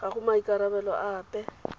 ga go maikarabelo a ape